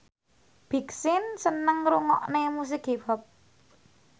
Big Sean seneng ngrungokne musik hip hop